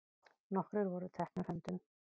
Nokkrir voru teknir höndum.